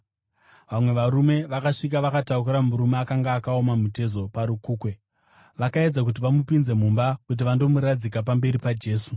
Vamwe varume vakasvika vakatakura murume akanga akaoma mutezo parukukwe vakaedza kuti vamupinze mumba kuti vandomuradzika pamberi paJesu.